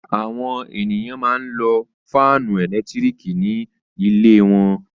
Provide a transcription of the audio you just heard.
Àwọn ènìyàn máa ń lo fáánù ẹ̀lẹ́tíríkì ní ilé wọn.